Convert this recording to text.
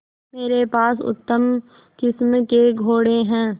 मेरे पास उत्तम किस्म के घोड़े हैं